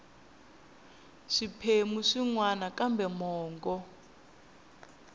swiphemu swin wana kambe mongo